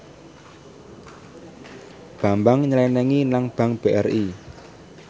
Bambang nyelengi nang bank BRI